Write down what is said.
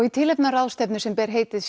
í tilefni af ráðstefnu sem ber heitið